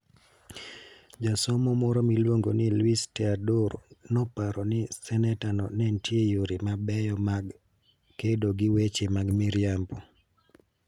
Jasomo moro miluongo ni Luis Teodoro noparo ne senetano ni nitie yore mabeyo mag kedo gi weche mag miriambo: